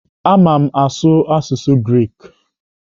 Ama m asụ asụsụ Greek.